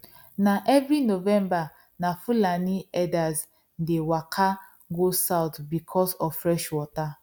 na every november na fulani herders dey waka go south because of fresh water